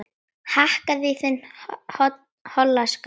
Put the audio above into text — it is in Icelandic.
Hakkaðu í þinn hola skrokk